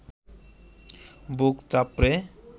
বুক চাপড়ে